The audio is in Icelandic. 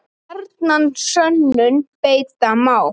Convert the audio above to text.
Gjarnan sönnum beita má.